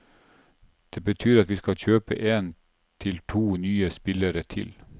Det betyr at vi skal kjøpe en til to nye spillere til.